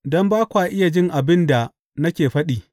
Don ba kwa iya jin abin da nake faɗi.